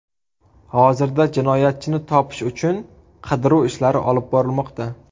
Hozirda jinoyatchini topish uchun qidiruv ishlari olib borilmoqda.